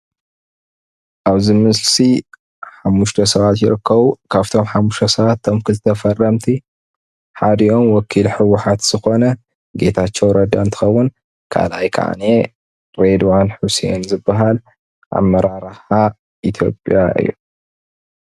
አብዚ ምስሊ ሓሙሽተ ስባት ይርከቡ. ካብቶም ሓሙሽተ ስባት እቶም ክልተ ፈረምቲ ሓዲኦም ወኪል ሕዉሓት ዝኮነ ግታቸዉ ረዳ እንትከውን ካልአይ ከዓኒየ ሬድዋን ሔስን ዝበሃል አመራራሓ ኢትዮዸያ እዩ፡፡